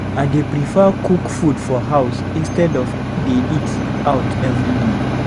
I dey prefer cook food for house instead of dey eat out every day.